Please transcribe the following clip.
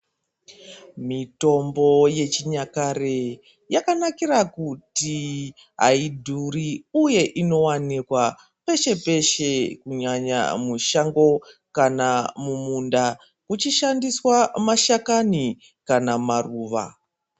Mitombo yechinyakare yakanakira kuti haidhuri uye inowanikwa peshe peshe kunyanya mushando kana mumunda kuchishandiswa mashakani kana maruva.